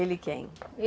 Ele quem?